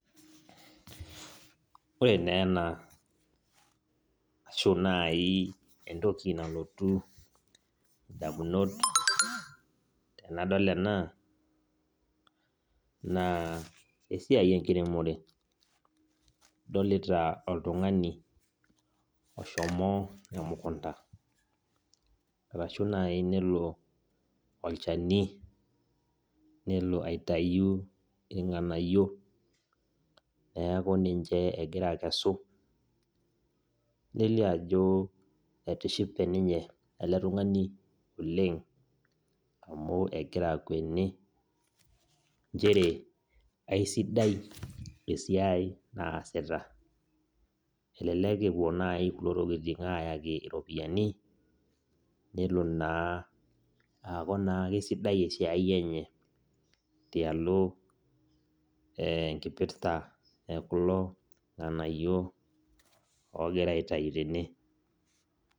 Ore na ena ashu nai entoki nalotu ndamunot tanadol ena na esiai enkiremore adolita oltungani oshomo emukunda ashu nai nelo olchani nelo aitau irnganayio neaku ninche egira akesu nelio ajo etishipe eletungani oleng amu egira akweni nchere kesidai esiai naasita, elelek epuo nai kulo tolitin ayaki ropiyani nelo na aaku naa kesidai esiai enye tialo enkipirta lekulo nganayio ogirai aitau tene